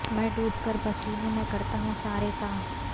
میں ڈوب کر پسینے میں کرتا ہوں سارے کام